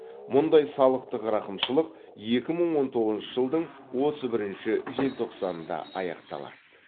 мұндай салықтық рақымшылық екі мың он тоғызыншы жылдың отыз бірінші желтоқсанында аяқталады